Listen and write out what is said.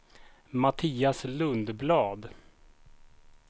Mattias Lundblad